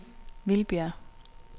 Vildbjerg